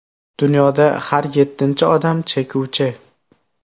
Dunyoda har yettinchi odam chekuvchi .